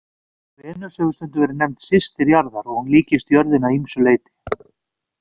Venus hefur stundum verið nefnd systir jarðar og hún líkist jörðinni að ýmsu leyti.